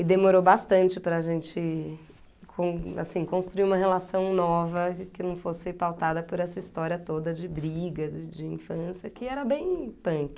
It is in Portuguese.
E demorou bastante para gente com, assim, construir uma relação nova que não fosse pautada por essa história toda de briga, de infância, que era bem punk.